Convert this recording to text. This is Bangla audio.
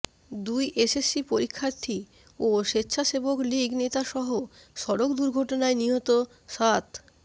দুই এসএসসি পরীক্ষার্থী ও স্বেচ্ছাসেবক লীগ নেতাসহ সড়ক দুর্ঘটনায় নিহত সাত